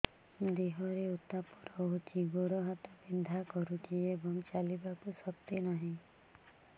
ଦେହରେ ଉତାପ ରହୁଛି ଗୋଡ଼ ହାତ ବିନ୍ଧା କରୁଛି ଏବଂ ଚାଲିବାକୁ ଶକ୍ତି ନାହିଁ